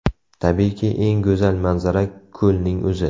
Tabiiyki, eng go‘zal manzara ko‘lning o‘zi.